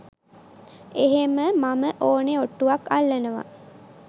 එහෙම මම ඕනෙ ඔට්ටුවක් අල්ලනවා.